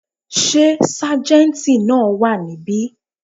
Sé sájéntì náà wà níbí